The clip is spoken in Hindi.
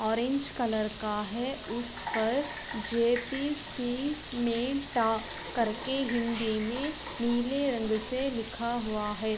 ऑरेंज कलर का है। उस पर जे पी सी में टा करके हिन्दी में नीले रंग से लिखा हुआ है।